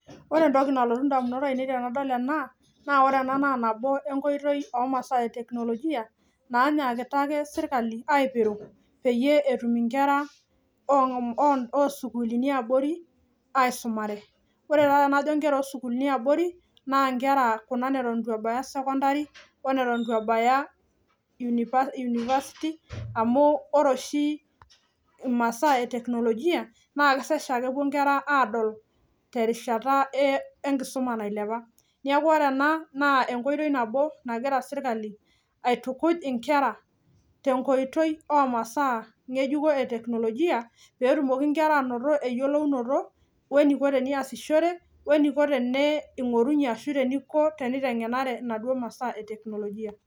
Wore entoki nalotu indamunot aiinei tenadol ena, naa wore ena naa nabo enkoitoi oomasaa eteknolojia, nainyiakita ake serkali aipiru, peyie etum inkera oosukuulini eabori, aisumare. Wore taa tenajo inkera osukuulini eabori, naa inkera kuna neton itu ebaya sekondari, oneton itu ebaya university amu, wore oshi imasaa eteknolojia naa kesaj aa kepuo inkera aadol terishata enkisuma nailepa. Neeku wore ena, naa enkoitoi nabo nakira serkali aitukuj inkera, tenkoitoi oomasaa nyejukon eteknolojia, pee etumoki inkera ainoto eyiolounoto, weniko teniasishore, weniko tene ingorunyie ashu eniko tenitengenare inaduo masaa eteknolojia.